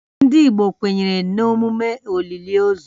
Ndị Igbo kwenyere na emume olili ozu